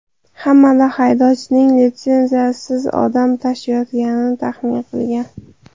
Hamda haydovchining litsenziyasiz odam tashiyotganini taxmin qilgan.